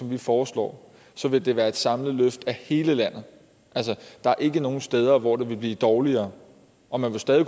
vi foreslår så vil det være et samlet løft i hele landet der er ikke nogen steder hvor det vil blive dårligere og man vil stadig